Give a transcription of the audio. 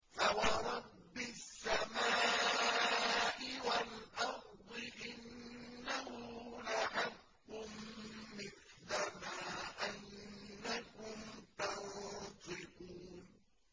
فَوَرَبِّ السَّمَاءِ وَالْأَرْضِ إِنَّهُ لَحَقٌّ مِّثْلَ مَا أَنَّكُمْ تَنطِقُونَ